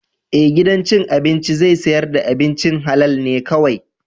Ee, gidan cin abinci zai sayar da abincin halal ne kawai.